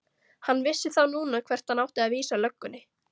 Hann vissi þá núna hvert hann átti að vísa löggunni!